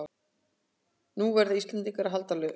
Nú verða Íslendingar að halda haus